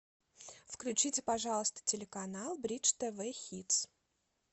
включите пожалуйста телеканал бридж тв хитс